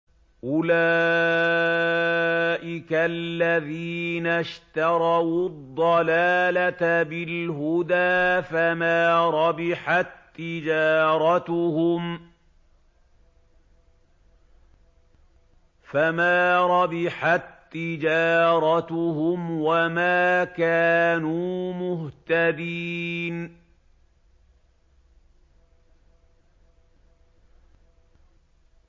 أُولَٰئِكَ الَّذِينَ اشْتَرَوُا الضَّلَالَةَ بِالْهُدَىٰ فَمَا رَبِحَت تِّجَارَتُهُمْ وَمَا كَانُوا مُهْتَدِينَ